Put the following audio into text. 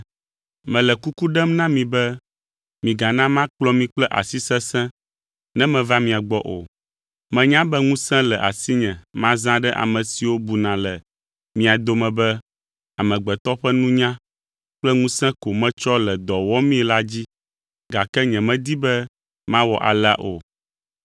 Mele kuku ɖem na mi be migana makplɔ mi kple asi sesẽ ne meva mia gbɔ o. Menya be ŋusẽ le asinye mazã ɖe ame siwo buna le mia dome be amegbetɔ ƒe nunya kple ŋusẽ ko metsɔ le dɔ wɔmii la dzi, gake nyemedi be mawɔ alea o.